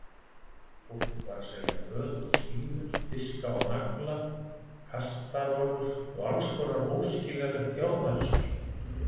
Fólk var að selja föt og stígvél, diska og nagla, kastarholur og allskonar óskiljanlegt járnarusl.